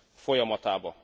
folyamatába.